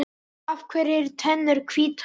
Af hverju eru tennur hvítar?